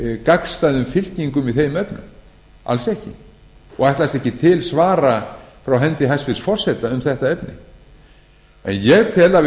gagnstæðum fylkingum í þeim efnum alls ekki og ætlast ekki til svara frá hendi hæstvirts forseta um þetta efni en ég tel að við